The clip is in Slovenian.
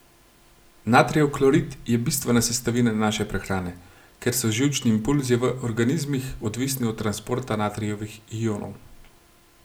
Natrijev klorid je bistvena sestavina naše prehrane, ker so živčni impulzi v organizmih odvisni od transporta natrijevih ionov.